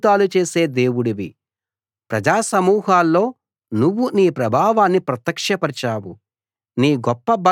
నువ్వు అద్భుతాలు చేసే దేవుడివి ప్రజా సమూహాల్లో నువ్వు నీ ప్రభావాన్ని ప్రత్యక్షపరచావు